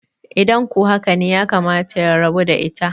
idan ko haka ne yakamata ya rabu da ita?